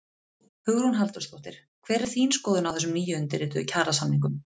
Hugrún Halldórsdóttir: Hver er þín skoðun á þessum nýundirrituðu kjarasamningum?